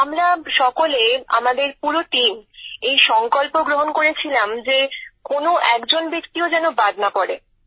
আমরা সকলে আমাদের পুরো টিম এই সংকল্প গ্রহণ করেছিলাম যে কোনো একজন ব্যক্তিও যেন বাদ না পড়ে